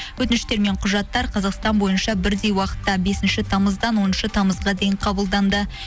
өтініштер мен құжаттар қазақстан бойынша бірдей уақытта бесінші тамыздан оныншы тамызға дейін қабылданды